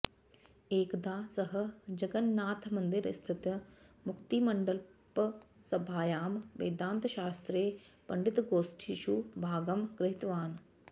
एकदा सः जगन्नाथमन्दिरस्थित मुक्तिमण्डपसभायां वेदान्तशास्त्रे पण्डितगोष्ठीषु भागं गृहीतवान्